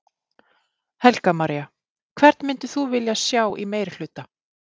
Helga María: Hvern myndir þú vilja sjá í meirihluta?